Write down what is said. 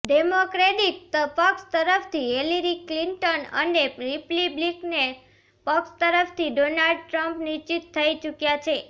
democratic પક્ષ તરફથી Hillary Clinton અને રિપબ્લિકન પક્ષ તરફથી ડોનાલ્ડ ટ્રમ્પ નિશ્ચિત થઈ ચૂક્યાં છે